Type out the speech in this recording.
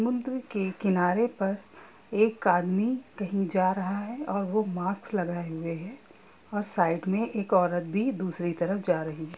मंदिर के किनारे पर एक आदमी कहीं जा रहा है और वह मास्क लगाए हुए है और साइड में एक औरत भी दूसरी तरफ जा रही है।